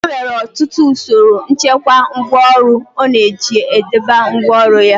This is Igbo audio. E nwere ọtụtụ usoro nchekwa ngwáọrụ ọ na-eji e debe ngwáọrụ ya.